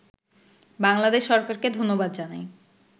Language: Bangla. বাংলাদেশ সরকারকে ধন্যবাদ জানাই